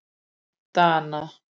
Dana